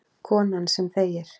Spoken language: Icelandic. Konan sem þegir.